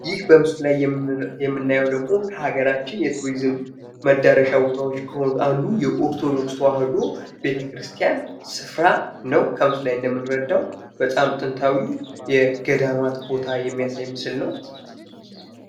ይህ በምስሉ ላይ የምናየው ደግሞ ከሀገራችን የቱሪዝም መዳረሻ ቦታዎች ከሆኑት አንዱ የኦርቶዶክስ ተዋሕዶ ቤተክርስቲያን ስፍራ ነው። በምስሉ ላይ እንደምንረዳው በጣም ጥንታዊ የገዳማት ቦታ የሚያሳይ ምስል ነው።